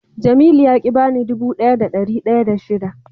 Jamilu ya ki ya bani dubu daya da dari daya da shida.